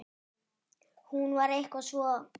Hún var eitthvað svo.